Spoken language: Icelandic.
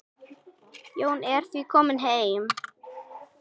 Jón er því kominn heim.